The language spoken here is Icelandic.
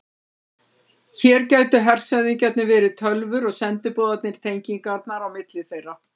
Hér gætu hershöfðingjarnir verið tölvur og sendiboðarnir tengingarnar á milli þeirra.